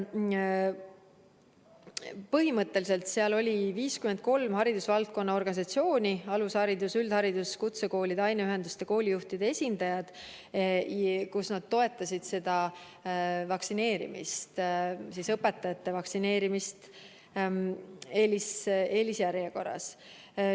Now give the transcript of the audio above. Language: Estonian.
Põhimõtteliselt oli seal 53 haridusvaldkonna organisatsiooni – alushariduse, üldhariduse, kutsekoolide, aineühenduste, koolijuhtide esindajad – ja nad toetasid õpetajate vaktsineerimist eelisjärjekorras.